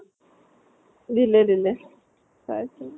দিলে দিলে, চাইছো ।